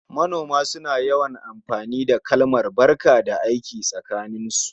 Manoma suna yawan amfani da kalmar "barka da aiki" tsakaninsu